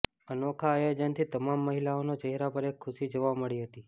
અનોખા આયોજનથી તમામ મહિલાઓનો ચહેરા પર એક ખુશી જોવા મળી હતી